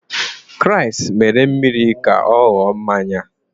Kraịst mere mmiri ka ọ ghọrọ mmanya.